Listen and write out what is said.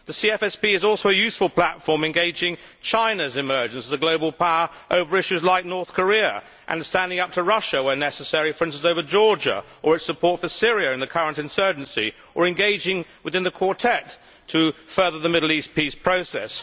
The CFSP is also a useful platform engaging China's emergence as a global power over issues like North Korea and standing up to Russia where necessary, for instance, over Georgia or its support for Syria in the current insurgency, or engaging within the Quartet to further the Middle East peace process.